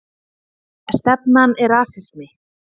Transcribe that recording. Stefnan er rasismi